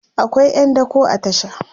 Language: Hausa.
akwai ƴan dako a tasha